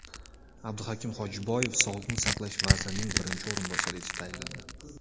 Abduhakim Xojiboyev Sog‘liqni saqlash vazirining birinchi o‘rinbosari etib tayinlandi.